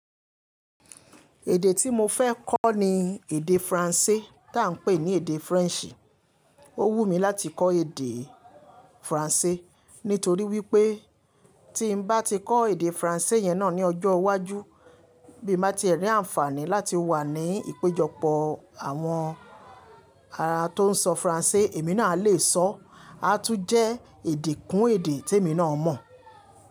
Èdè tí mo fẹ́ kọ ni èdè Faransé tí à ń pè ní èdè French. Ó wù mí láti kọ èdè Faransé nítorí wípé tí n bá ti kọ èdè Faransé yẹn náà ní ọjọ́ iwájú bí mo bá ti e rí àǹfààní láti wà ní ìpéjọpọ̀ àwọn ará tó ń sọ Faransé, èmi náà alè sọ. A tún jẹ́ èdè kún èdè tí èmi náà mọ̀